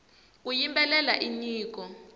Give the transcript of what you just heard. ku yimbelela i nyiko